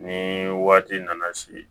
Ni waati nana se